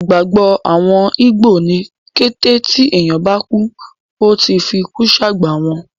Ìgbàgbọ́ àwọn ígbò ni kété tí ènìyàn bá kú, Ó ti fikú sàgbà wọn.